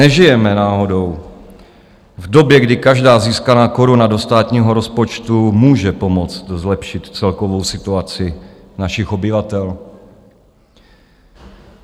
Nežijeme náhodou v době, kdy každá získaná koruna do státního rozpočtu může pomoct zlepšit celkovou situaci našich obyvatel?